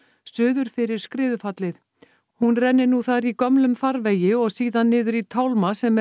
suður fyrir skriðufallið hún renni nú þar í gömlum farvegi og síðan niður í tálma sem